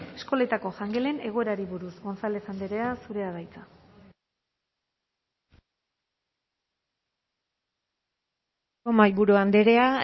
eskoletako jangelen egoerari buruz gonzález andrea zurea da hitza eskerrik asko mahaiburu andrea